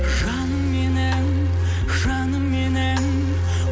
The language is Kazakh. жаным менің жаным менің